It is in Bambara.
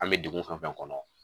An bɛ dugu fɛn o fɛn kɔnɔ